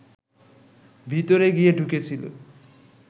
ভিতরে গিয়ে ঢুকেছিল